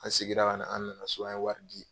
An segira ka na so an ye wari di.